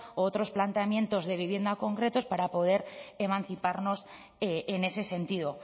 o otros planteamientos de vivienda concretas para poder emanciparnos en ese sentido